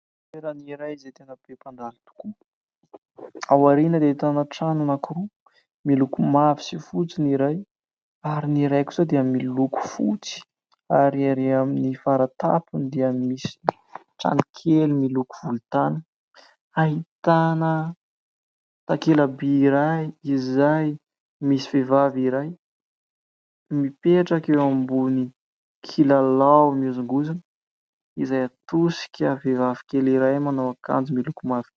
Toerana iray izay tena be mpandalo tokoa. Ao aoriana dia ahitanao trano anakiroa miloko : mavo sy fotsy ny iray, ary ny iray kosa dia miloko fotsy, ary ery amin'ny faran-tampony dia misy tranokely miloko volontany ahitana takela-by iray izay misy vehivavy iray mipetraka eo ambony kilalao mihozongozona, izay atosika vehivavy kely iray manao akanjo miloko mavo.